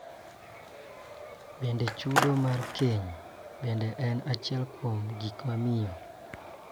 Bende, chudo mar keny bende en achiel kuom gik mamiyo